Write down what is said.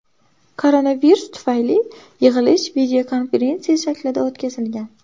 Koronavirus tufayli yig‘ilish videokonferensiya shaklida o‘tkazilgan.